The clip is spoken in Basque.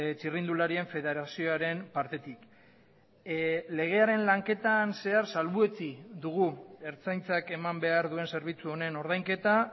txirrindularien federazioaren partetik legearen lanketan zehar salbuetsi dugu ertzaintzak eman behar duen zerbitzu honen ordainketa